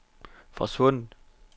forsvundet